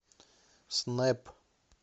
снэп